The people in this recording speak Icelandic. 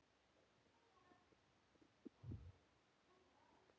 Sem gerist æ oftar.